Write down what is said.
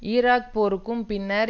Iraq போருக்கு பின்னர்